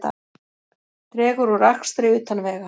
Dregur úr akstri utan vega